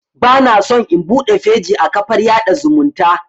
Bana so in buɗe feji a kafar yaɗa zumunta